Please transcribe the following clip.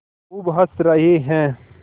खूब हँस रहे हैं